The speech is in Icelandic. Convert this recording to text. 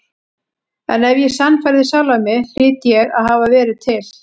En ef ég sannfærði sjálfan mig hlýt ég að hafa verið til.